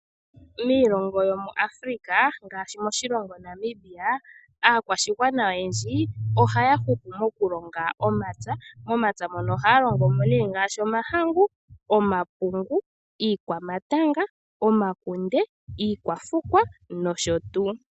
Miilongo yomuAfrica ngaashi moshilongo Namibia aakkwashigwana oyendji ohaya hupu mokulonga momapya, momapya moka ohaya longo mo ngaashi omahangu, omapungu, iikwamatanga, omakunde, iikwafukwa nosho tuu.